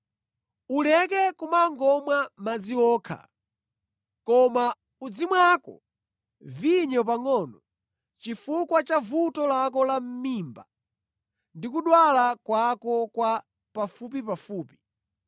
Uleke kumangomwa madzi okha, koma uzimwako vinyo pangʼono chifukwa cha vuto lako la mʼmimba ndi kudwala kwako kwa pafupipafupi.